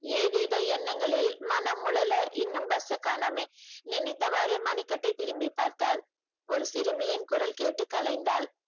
ஏதேதோ எண்ணங்களில் மனம் உளல இன்னும் bus அ காணோமே நினைத்தவாறு மணிக்கட்டை திரும்பி பார்த்தாள். ஒரு சிறுமியின் குரல் கேட்டு கலைந்தாள்